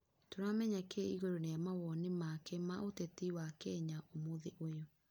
Tũramenya kĩ igũru rĩa mawonĩ make ma uteti wa Kenya ũmũthĩ ũyũ